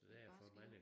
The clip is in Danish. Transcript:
Et barskt liv